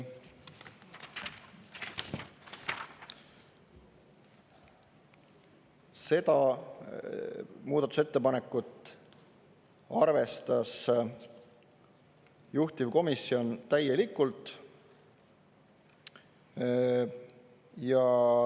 Seda muudatusettepanekut arvestas juhtivkomisjon täielikult.